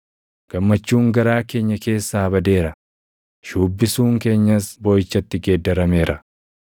Gammachuun garaa keenya keessaa badeera; shuubbisuun keenyas booʼichatti geeddarameera.